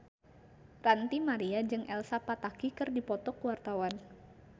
Ranty Maria jeung Elsa Pataky keur dipoto ku wartawan